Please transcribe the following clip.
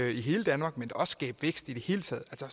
i hele danmark og skabe vækst i det hele taget så